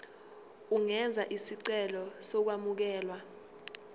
ungenza isicelo sokwamukelwa